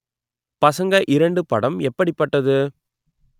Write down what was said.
பசங்க இரண்டு படம் எப்படிப்பட்டது